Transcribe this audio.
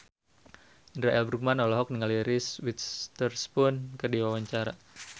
Indra L. Bruggman olohok ningali Reese Witherspoon keur diwawancara